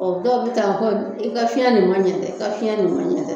Ɔ dɔw bi taa hɔ i ka fiɲɛ nunnu ma ɲɛ dɛ i ka fiɲɛ nunnu ma ɲɛ dɛ